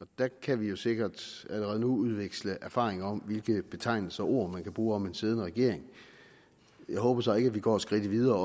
og der kan vi jo sikkert allerede nu udveksle erfaringer om hvilke betegnelser og ord man kan bruge om en siddende regering jeg håber så ikke at vi går skridtet videre